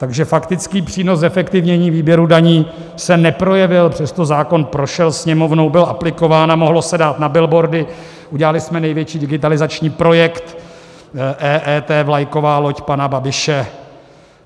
Takže faktický přínos zefektivnění výběru daní se neprojevil, přesto zákon prošel Sněmovnou, byl aplikován a mohlo se dát na billboardy: udělali jsme největší digitalizační projekt, EET, vlajková loď pana Babiše.